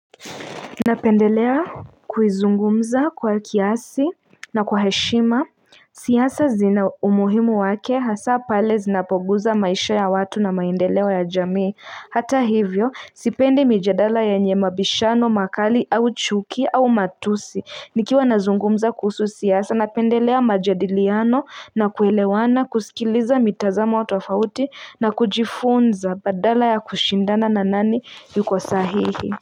Napendelea kuzungumza kwa kiasi na kwa heshima siasa zina umuhimu wake hasa pale zinapoguza maisha ya watu na maendeleo ya jamii Hata hivyo sipendi mijadala yenye mabishano makali au chuki au matusi Nikiwa nazungumza kuhusu siasa napendelea majadiliano na kuelewana kusikiliza mitazamo tofauti na kujifunza badala ya kushindana na nani yuko sahihi.